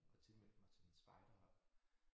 Og tilmeldt mig til et spejderhold